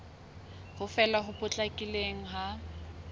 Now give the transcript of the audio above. ho fela ho potlakileng ha